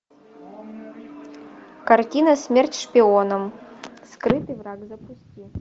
картина смерть шпионам скрытый враг запусти